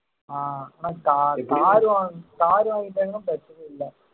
ஆஹ் ஆனா ca~ car வாங்கிட்டோம்ன்னா பிரச்சனை இல்லை